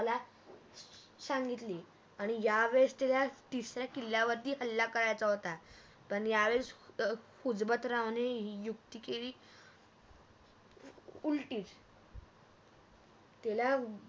सांगितली आणि या वेळेस त्याला तिसऱ्या किल्ल्यावरती हल्ला करायचा होता पण या वेळस हिजमतरावाणे युक्ति केली उलटिच त्याला